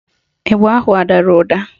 Ịgba ahụ adara ụda?